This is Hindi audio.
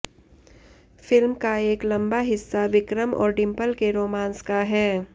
फिल्म का एक लंबा हिस्सा विक्रम और डिंपल के रोमांस का है